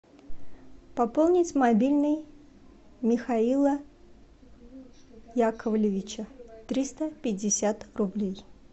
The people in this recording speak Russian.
пополнить мобильный михаила яковлевича триста пятьдесят рублей